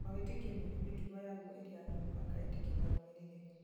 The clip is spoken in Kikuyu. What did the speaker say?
o wĩtĩkio nĩũrĩ mĩtugo yaguo ĩrĩa no mũhaka etĩkia marũmĩrĩre